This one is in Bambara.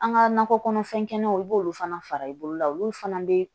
An ka nakɔ kɔnɔfɛnkɛnɛw i b'olu fana fara i bolo la olu fana bɛ